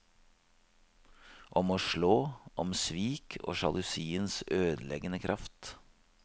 Om å slå, om svik og sjalusiens ødeleggende kraft.